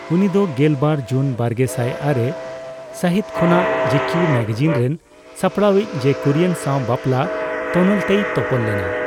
ᱩᱱᱤᱫᱚ ᱜᱮᱞ ᱵᱟᱨ ᱡᱩᱱ ᱵᱟᱨᱜᱮᱥᱟᱭ ᱟᱨᱮ ᱥᱟᱹᱦᱤᱛ ᱠᱷᱚᱱᱟᱜ ᱡᱤᱠᱤᱭᱩ ᱢᱮᱜᱟᱡᱤᱱ ᱨᱮᱱ ᱥᱟᱯᱲᱟᱣᱤᱡᱽ ᱪᱮ ᱠᱩᱨᱤᱭᱮᱱ ᱥᱟᱣ ᱵᱟᱯᱞᱟ ᱛᱚᱱᱚᱞᱛᱮᱭ ᱛᱚᱯᱚᱞ ᱞᱮᱱᱟ ᱾